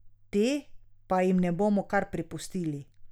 Te pa jim ne bomo kar prepustili.